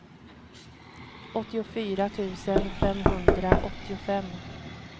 åttiofyra tusen femhundraåttiofem